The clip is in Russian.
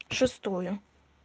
шестое